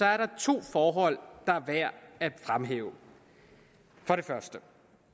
er der to forhold der er værd at fremhæve for det første er